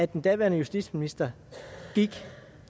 den daværende justitsminister gik